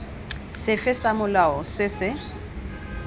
sefe sa molao se se